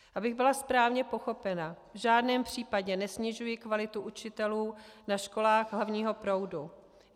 Abych byla správně pochopena, v žádném případě nesnižuji kvalitu učitelů na školách hlavního proudu.